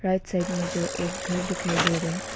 Right side में जो एक घर दिखाई दे रहा है।